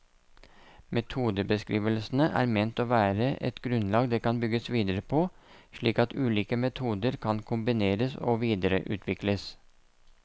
Metodebeskrivelsene er ment å være et grunnlag det kan bygges videre på, slik at ulike metoder kan kombineres og videreutvikles.